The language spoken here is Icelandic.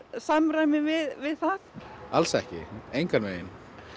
samræmi við það alls ekki engan veginn